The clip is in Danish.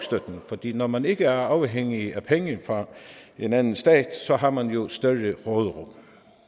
når man ikke er afhængig af penge fra en anden stat har man jo større råderum